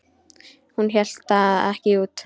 Hún hélt það ekki út!